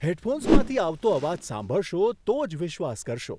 હેડફોન્સમાંથી આવતો અવાજ સાંભળશો તો જ વિશ્વાસ કરશો.